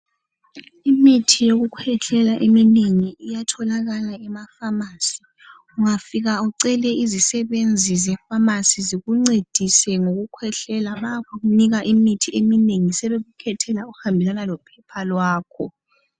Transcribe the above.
Imithi yokukhwehlela eminengi iyatholakala kuma pharmacy ungafika ucele izisebenzi ze pharacy zikuncedise ngowokukhwehlela bayakunika imithi eminengi sebekukhethele uhambelana lephephe lakho